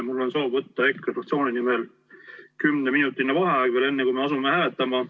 Mul on soov võtta EKRE fraktsiooni nimel kümneminutiline vaheaeg, veel enne kui me asume hääletama.